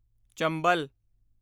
ਚੰਬਲ